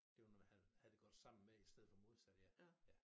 Det var noget man havde det havde det godt sammen med i stedet for modsat ja ja